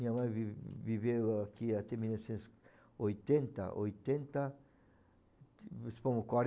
Minha mãe vi viveu aqui até mil novecentos oitenta, oitenta, vamos supor,